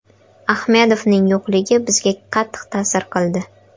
Ahmedovning yo‘qligi bizga qattiq ta’sir qildi.